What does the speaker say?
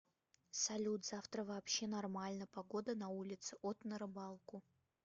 салют завтра вообще нормально погода на улице от на рыбалку